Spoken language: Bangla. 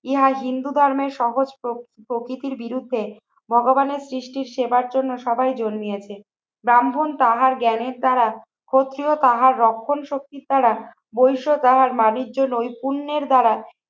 ইহার হিন্দু ধর্মের সহজ প্রকৃতির বিরুদ্ধে ভগবানের সৃষ্টির সেবার জন্য সবাই জন্মিয়েছে। ব্রাহ্মণ তাহার জ্ঞানের দ্বারা ক্ষত্রিয় তাহার রক্ষণ শক্তির দ্বারা বৈশ্য তাহার বাণিজ্য নৈপুণ্যের দ্বারা